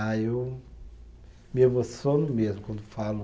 Ah, eu me emociono mesmo quando falo.